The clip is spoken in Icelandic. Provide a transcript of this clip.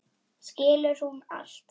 Skilur hún allt?